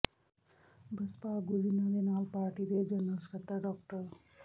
ਬਸਪਾ ਆਗੂ ਜਿਨ੍ਹਾਂ ਦੇ ਨਾਲ ਪਾਰਟੀ ਦੇ ਜਨਰਲ ਸਕੱਤਰ ਡਾ